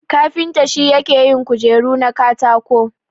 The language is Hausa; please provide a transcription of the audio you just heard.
Kafinta shi yake yin kujeru na katako.